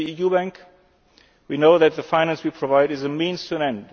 As the EU bank, we know that the finance we provide is a means to an